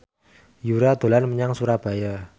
Yura dolan menyang Surabaya